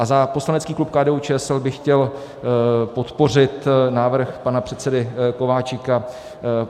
A za poslanecký klub KDU-ČSL bych chtěl podpořit návrh pana předsedy Kováčika.